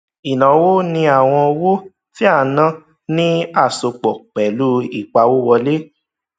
ìnáwó ni àwọn owó tí a ná ní àsopọ pẹlú ìpawówọlé